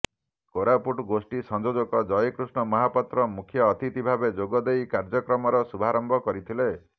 କୋରାପୁଟ ଗୋଷ୍ଠୀ ସଂଯୋଜକ ଜୟକୃଷ୍ଣ ମହାପାତ୍ର ମୁଖ୍ୟ ଅତିଥି ଭାବେ ଯୋଗଦେଇ କାର୍ଯ୍ୟକ୍ରମର ଶୁଭାରମ୍ଭ କରିଥିଲେ